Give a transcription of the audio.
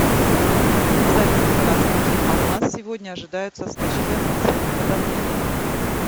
салют здравствуйте а у нас сегодня ожидаются скачки атмосферного давления